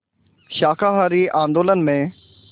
शाकाहारी आंदोलन में